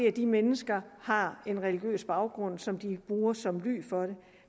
at de mennesker har en religiøs baggrund som de bruger som ly for det